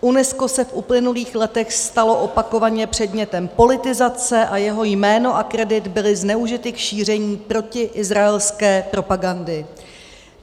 UNESCO se v uplynulých letech stalo opakovaně předmětem politizace a jeho jméno a kredit byly zneužity k šíření protiizraelské propagandy.